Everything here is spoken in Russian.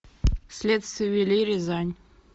следствие вели рязань